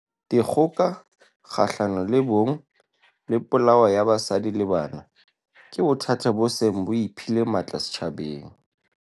Dikgoka kgahlano le bong le polao ya basadi le banana ke bothata bo seng bo iphile matla setjhabeng.